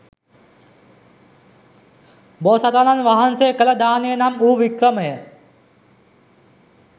බෝසතාණන් වහන්සේ කළ දානය නම් වූ වික්‍රමය